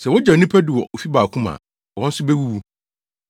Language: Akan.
Sɛ wogyaw nnipa du wɔ ofi baako mu a, wɔn nso bewuwu.